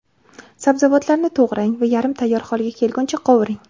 Sabzavotlarni to‘g‘rang va yarim tayyor holga kelguncha qovuring.